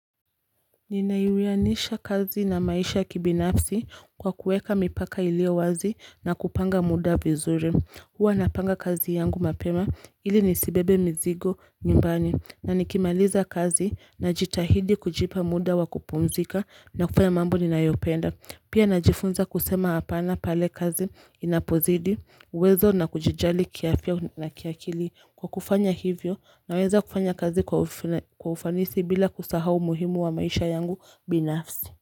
Ninaiwianisha kazi na maisha kibinafsi kwa kueka mipaka ilio wazi na kupanga muda vizuri. Hua napanga kazi yangu mapema ili nisibebe mizigo nyumbani na nikimaliza kazi na jitahidi kujipa muda wa kupumzika na kufanya mambo ninayopenda Pia najifunza kusema hapana pale kazi inapozidi, uwezo na kujijali kiafya na kia kili. Kwa kufanya hivyo, naweza kufanya kazi kwa ufanisi bila kusahau umuhimu wa maisha yangu binafsi.